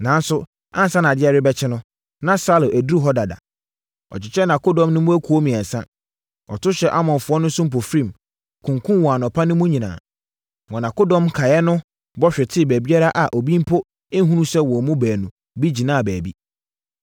Nanso, ansa na adeɛ rebɛkye no, na Saulo aduru hɔ dada. Ɔkyekyɛɛ nʼakodɔm no mu akuo mmiɛnsa. Ɔto hyɛɛ Amonfoɔ no so mpofirim, kunkumm wɔn anɔpa mu no nyinaa. Wɔn akodɔm nkaeɛ no bɔ hwetee baabiara a obi mpo nhunu sɛ wɔn mu baanu bi gyina baabi.